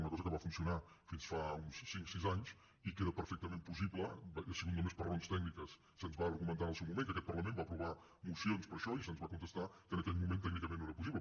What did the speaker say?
una cosa que va funcionar fins fa uns cinc sis anys i que era perfectament possible ha sigut només per raons tècniques se’ns va argumentar en el seu moment que aquest parlament va aprovar mocions per això i se’ns va contestar que en aquell moment tècnicament no era possible